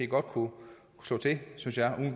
godt kunne slå til synes jeg hvad